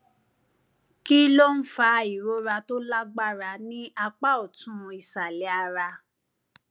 kí ló ń fa ìrora tó lágbára ní apá ọtún ìsàlẹ ara